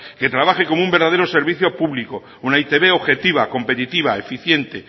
que trabaje como un verdadero servicio público una e i te be objetiva competitiva eficiente